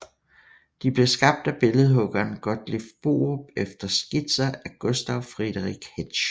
De blev skabt af billedhuggeren Gotthilf Borup efter skitser af Gustav Friedrich Hetsch